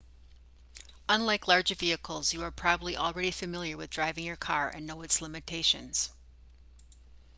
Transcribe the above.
unlike larger vehicles you are probably already familiar with driving your car and know its limitations